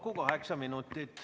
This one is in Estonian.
Kokku kaheksa minutit.